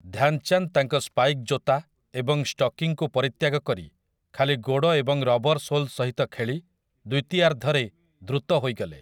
ଧ୍ୟାନ ଚାନ୍ଦ୍ ତାଙ୍କ ସ୍ପାଇକ୍ ଜୋତା ଏବଂ ଷ୍ଟକିଂକୁ ପରିତ୍ୟାଗ କରି ଖାଲି ଗୋଡ଼ ଏବଂ ରବର ସୋଲ୍ ସହିତ ଖେଳି ଦ୍ୱିତୀୟାର୍ଦ୍ଧରେ ଦ୍ରୁତ ହୋଇଗଲେ ।